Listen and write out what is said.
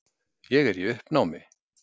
Ég er í uppnámi.